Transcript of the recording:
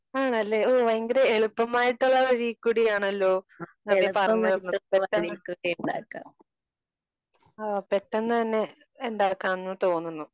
ആണല്ലെ? ഓഹ് ഭയങ്കര എളുപ്പമായിട്ടുള്ള വഴിയിൽ കൂടിയാണല്ലോ? നവ്യ പറഞ്ഞത് പെട്ടെന്ന് പെട്ടെന്ന് തന്നെ ഉണ്ടാക്കാമെന്ന് തോന്നുന്നു.